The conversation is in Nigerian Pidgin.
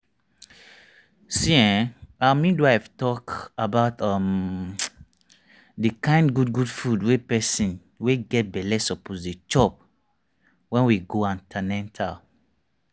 see[um]our midwife talk about um the kind good good food wey person wey get belle suppose dey chop wen we go an ten atal